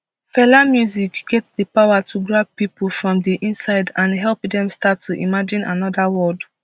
fela music get di power to grab pipo from di inside and help dem start to imagine anoda world